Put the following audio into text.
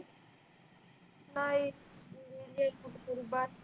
नाही गेली कुठ तरी